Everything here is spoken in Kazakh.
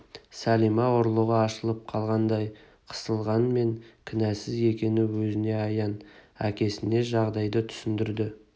сәлима ұрлығы ашылып қалғандай қысылғанмен кінәсіз екені өзіне аян әкесіне жағдайды түсіндірді